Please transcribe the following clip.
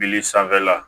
Bili sanfɛla